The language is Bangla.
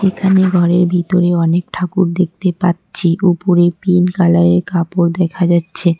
এখানে ঘরের ভিতরে অনেক ঠাকুর দেখতে পাচ্ছি ওপরে পিঙ্ক কালারের কাপড় দেখা যাচ্ছে।